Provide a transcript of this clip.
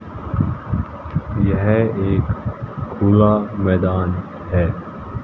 यह एक खुला मैदान है।